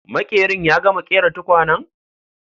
Maƙerin ya gama ƙera tukwanen?